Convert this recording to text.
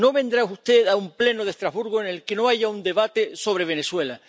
No vendrá usted a un Pleno de Estrasburgo en el que no haya un debate sobre Venezuela.